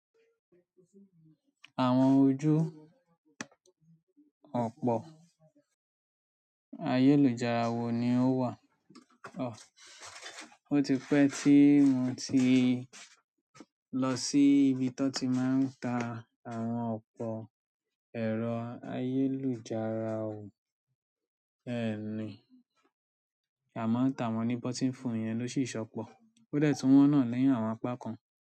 Àwọn ojú òpó ayélujára wo ni ó wà? Ó ti pẹ́ tí mo ti lọ sí ibi tọ́n ti máa ń ta àwọn òpó ẹ̀rọ ayélujára wò. Ẹni, àmọ́ tàwọn ní button phone yẹn ló sì ṣọ́pọ̀. Ó dẹ̀ tún wọ́n náà ni àwọn apá kan.